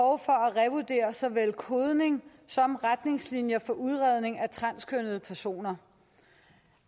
at revurdere såvel kodning som retningslinjer for udredning af transkønnede personer